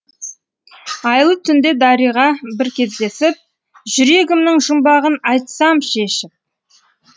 айлы түнде дариға бір кездесіп жүрегімнің жұмбағын айтсам шешіп